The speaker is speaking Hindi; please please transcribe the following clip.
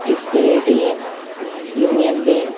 जिस पे एटीएम यूनियन बैंक --